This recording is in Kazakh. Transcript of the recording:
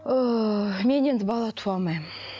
ыыы мен енді бала туа алмаймын